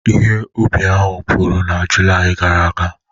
Ihe ubi ahụ puru na Julaị gara aga?